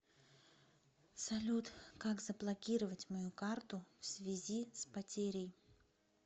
салют как заблокировать мою карту всвязи с потерей